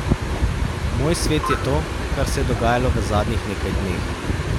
Moj svet je to, kar se je dogajalo v zadnjih nekaj dneh.